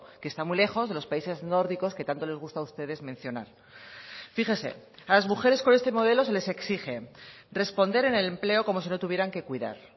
que está muy lejos de los países nórdicos que tanto les gusta a ustedes mencionar fíjese a las mujeres con este modelo se les exige responder en el empleo como si no tuvieran que cuidar